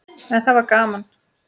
En það var gaman.